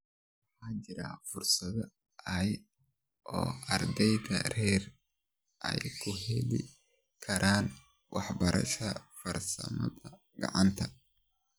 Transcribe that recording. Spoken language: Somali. Waxaa jira fursado yar oo ardayda rer ay ku heli karaan waxbarashada farsamada gacanta.